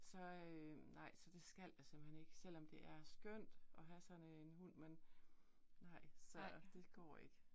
Så øh nej, så det skal jeg simpelthen ikke, selvom det er skønt at have sådan en hund, men nej. Så, det går ikke